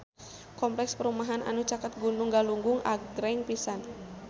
Kompleks perumahan anu caket Gunung Galunggung agreng pisan